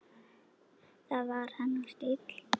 Það var hennar stíll.